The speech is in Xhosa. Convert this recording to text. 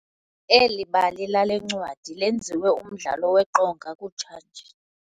Eli bali lale ncwadi lenziwe umdlalo weqonga kutshanje.